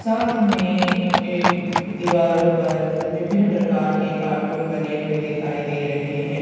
साथ में एक दीवारों पर विभिन्न प्रकार के कार्टून बने हुए दिखाई दे रहे हैं।